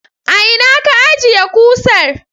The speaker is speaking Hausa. A ina ka ajjiye kusar?